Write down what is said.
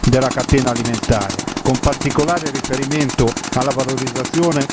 della catena alimentare, con particolare riferimento alla valorizzazione.